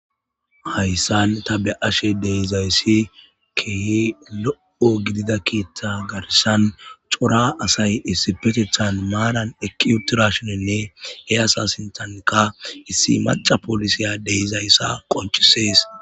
hayssan tabe7ashe de'izayssi kehe lo7o gidida kiitta garshan cora asay issi petecthan maanan ekiutirashoninne he asasintanka issi maca polisiya deizayssa qoncisees